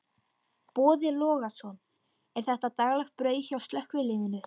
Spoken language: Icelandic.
Boði Logason: Er þetta daglegt brauð hjá slökkviliðinu?